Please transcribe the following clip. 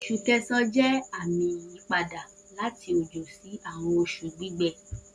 Oṣu Kẹsan jẹ ami iyipada lati ojo si awọn oṣu gbigbẹ